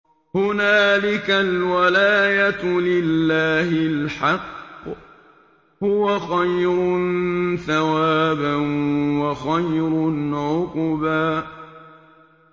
هُنَالِكَ الْوَلَايَةُ لِلَّهِ الْحَقِّ ۚ هُوَ خَيْرٌ ثَوَابًا وَخَيْرٌ عُقْبًا